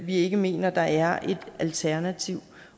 vi ikke mener der er et alternativ